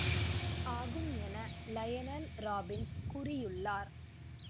ஆகும் என Lionel Robbins கூறியுள்ளார்